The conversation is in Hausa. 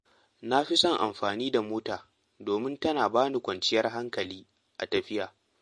Na fi son amfani da mota domin tana ba ni kwanciyar hankali a tafiya.